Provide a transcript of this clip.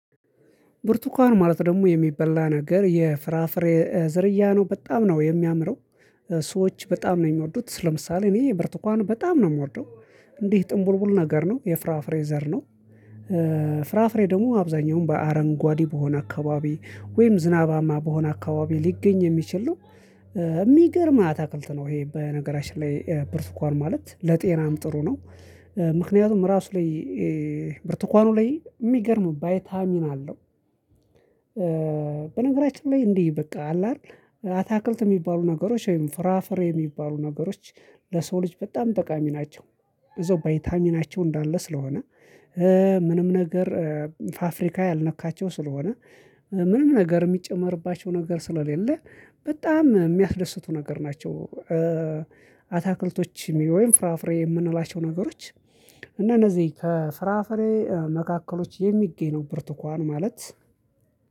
ብርቱካን ማለት ደግሞ የሚበላ ነገር የፍራፍሬ ዝርያ ነው በጣም ነው የሚያምረው ሰዎች በጣም ነው የሚወዱት ስለምሳሌ እኔ ብርቱካን በጣም ነው የምወደው። እንዲህ ጥምቡልቡል ነገር ነው የፍራፍሬ ዘር ነው። ፍራፍሬ ደግሞ አብዛኛውን በአረንጓዴ በሆነ አካባቢ ወይም ዝናባማ በሆነ አካባቢ ሊገኝ የሚችል ነው። እሚገርም አታክልት ነው ይሄ በነገራችን ላይ ብርቱካን ማለት ለጤናም ጥሩ ነው። ምክንያቱም ራሱ ላይ ብርቱካኑ ላይ የሚገርም ቫይታሚን አለው። በነገራችን ላይ እንዲህ በቃ አለ አይደል አታክልት የሚባሉ ነገሮች ወይም ፍራፍሬ የሚባሉ ነገሮች ለሰው ልጅ በጣም ጠቃሚ ናቸው። እዛው ቫይታሚናቸው እንዳለ ስለሆነ ምንም ነገር ፋፍሪካ ያልነካቸው ስለሆነ ምንም ነገር የሚጨመርባቸው ነገር ስለሌለ በጣም የሚያስደስቱ ነገር ናቸው። አታክልቶች የሚለው ወይም ፍራፍሬ የምንላቸው ነገሮች እና እነዚህ ከፍራፍሬ መካከሎች የሚገኝ ነው ብርቱካን ማለት